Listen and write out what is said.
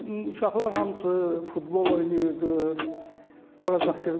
Uşaqlar hamısı futbol oynayırdı, ora qaçırdı.